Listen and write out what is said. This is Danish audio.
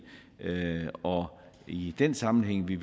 og i den sammenhæng vil